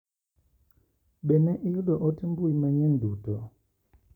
Be ne iyudo ote mbui manyien duto?